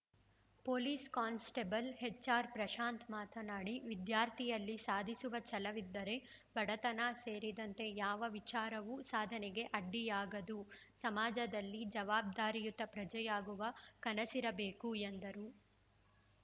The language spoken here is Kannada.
ಪೊಲೀಸ್‌ ಕಾನ್‌ಸ್ಟೇಬಲ್‌ ಎಚ್‌ಆರ್‌ಪ್ರಶಾಂತ್‌ ಮಾತನಾಡಿ ವಿದ್ಯಾರ್ಥಿಯಲ್ಲಿ ಸಾಧಿಸುವ ಛಲವಿದ್ದರೆ ಬಡತನ ಸೇರಿದಂತೆ ಯಾವ ವಿಚಾರವೂ ಸಾಧನೆಗೆ ಅಡ್ಡಿಯಾಗದು ಸಮಾಜದಲ್ಲಿ ಜವಾಬ್ದಾರಿಯುತ ಪ್ರಜೆಯಾಗುವ ಕನಸಿರಬೇಕು ಎಂದರು